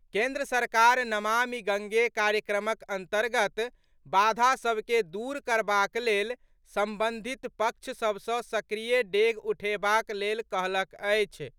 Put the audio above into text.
केन्द्र सरकार नमामि गंगे कार्यक्रमक अंतर्गत बाधा सभ के दूर करबाक लेल संबंधित पक्ष सभ सॅ सक्रिय डेग उठेबाक लेल कहलक अछि।